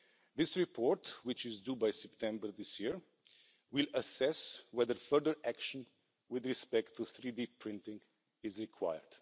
This report, which is due by September this year, will assess whether further action with respect to 3D printing is required.